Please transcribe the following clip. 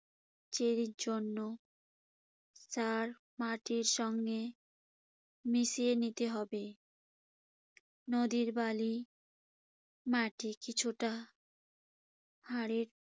চেরির জন্য সার মাটির সঙ্গে মিশিয়ে নিতে হবে। নদীর বালি মাটি কিছুটা সারের